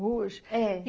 Hoje? É.